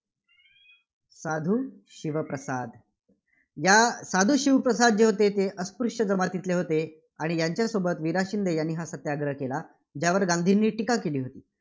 साधू शिवप्रसाद. या साधू शिवप्रसाद जे होते ते अस्पृश्य जमातीतील होते. आणि यांच्यासोबत वि. रा. शिंदे यांनी हा सत्याग्रह केला. ज्यावर गांधींनी टीका केली होती.